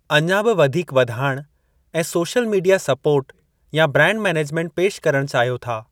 अञा बि वधीक वधाइणु ऐं सोशल मीडिया सपोर्ट या ब्रांड मैनेजमेंट पेश करणु चाहियो था।